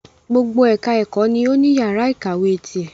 Gbogbo ẹka ẹ̀kọ́ ni o ní yàrá ìkàwé tirẹ̀.